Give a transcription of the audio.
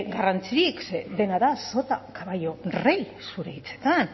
garrantzirik ze dena da sota caballo rey zure hitzetan